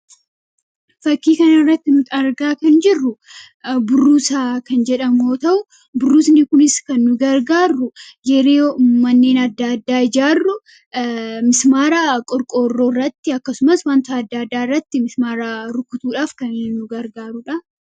fakkii kan irratti nut argaa kan jirru burruusa kan jedhamoo ta'u burrusni kunis kan nugargaarru gero manneen adda addaa ijaarru mismaaraa qorqoorroo irratti akkasumas wanto adda addaa irratti mismaaraa rukutuudhaaf kannugargaarudha